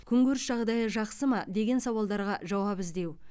күнкөріс жағдайы жақсы ма деген сауалдарға жауап іздеу